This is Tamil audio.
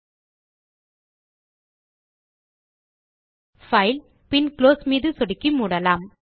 இந்த பைல் ஐ பைல் பின் குளோஸ் மீது சொடுக்கி மூடலாம்